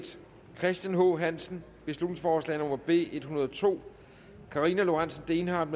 christian h hansen beslutningsforslag nummer b en hundrede og to karina lorentzen dehnhardt